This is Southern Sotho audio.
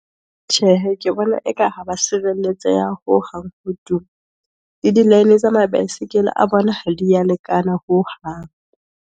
Tjhehe, ke bona eka ha ba sirelletse ya hohang , ke di tsa ma-baesekele a bona ha di ya lekana hohang.